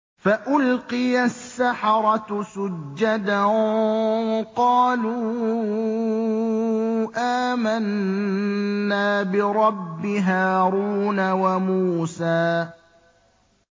فَأُلْقِيَ السَّحَرَةُ سُجَّدًا قَالُوا آمَنَّا بِرَبِّ هَارُونَ وَمُوسَىٰ